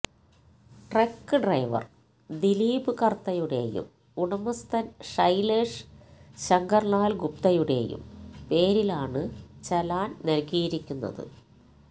truck driver Dileep കർത്തയുടെയും ഉടമസ്ഥൻ ഷൈലേഷ് ശങ്കർ ലാൽ ഗുപ്തയുടെയും പേരിലാണ് ചെലാൻ നൽകിയിരിക്കുന്നത്